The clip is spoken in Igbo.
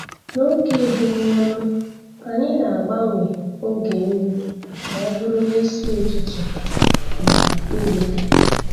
N'oge ebumọnụ, anyị na-agbanwe oge nri ka ọ bụrụ n'isi ụtụtụ na mgbede.